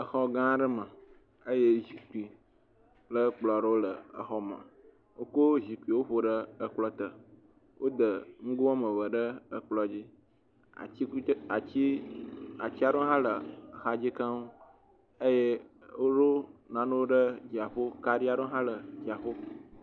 Exɔ gã aɖe me, eye zikpui kple ekplɔ aɖewo le exɔ me, woko zikpuiwo ƒo ɖe ekplɔ te, wode nugo woame eve ɖe ekplɔ dzi, atikutse…ati ati aɖewo hã le axa dzi keŋ, eye woɖo nanewo ɖe dzia ƒo, kaɖi aɖewo hã dzia ƒo.